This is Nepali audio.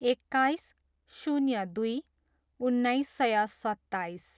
एक्काइस, शून्य दुई, उन्नाइस सय सत्ताइस